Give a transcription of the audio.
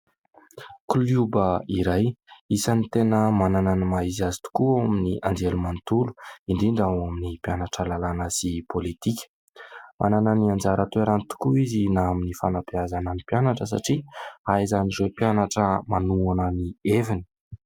Kilioba iray isan'ny tena manana ny maha-izy azy tokoa ao amin'ny anjerimanontolo indrindra ao amin'ny mpianatra lalàna sy ny pôlitika. Manana ny anjara toerany tokoa izy na amin'ny fanabeazana ny mpianatra satria ahaizan'ny mpianatra manohana ny heviny.